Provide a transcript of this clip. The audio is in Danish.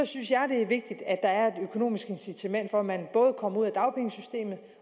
synes jeg det er vigtigt at der er et økonomisk incitament for at man både kommer ud af dagpengesystemet